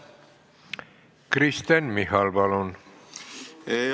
Kristen Michal, palun!